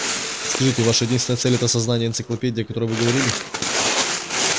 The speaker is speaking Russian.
скажите ваша единственная цель это создание энциклопедии о которой вы говорили